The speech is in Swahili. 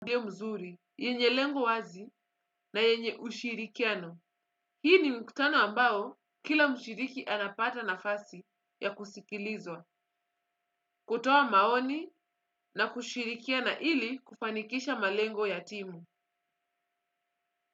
Mzuri, yenye lengo wazi, na yenye ushirikiano. Hii ni mkutano ambao, kila mshiriki anapata nafasi, ya kusikilizwa. Kutoa maoni na kushirikiana ili, kufanikisha malengo ya timu.